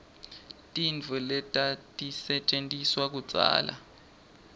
tintfo letatisetjentiswa kudzala